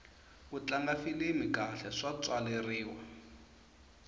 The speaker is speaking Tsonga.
ku tlanga filimi kahle swo tswaleriwa